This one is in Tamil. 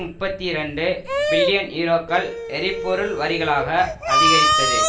முப்பத்தி இரண்டு பில்லியன் யூரோக்கள் எரிபொருள் வரிகளாக அதிகரித்தது